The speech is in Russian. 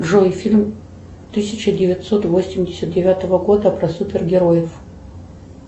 джой фильм тысяча девятьсот восемьдесят девятого года про супергероев